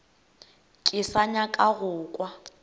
ke sa nyaka go kwa